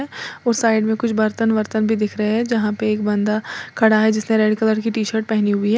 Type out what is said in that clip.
और साइड में कुछ बर्तन वर्तन भी दिख रहे है जहां पे एक बंदा खड़ा है जिसने रेड कलर की टी शर्ट पहनी है।